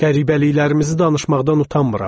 Qəribəliklərimizi danışmaqdan utanmıram.